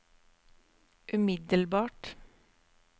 umiddelbart